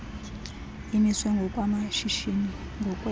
imiswe ngokwamashishini ngokwee